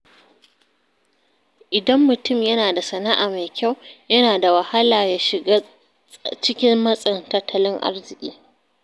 Idan mutum yana da sana’a mai kyau, yana da wahala ya shiga cikin matsin tattalin arziki.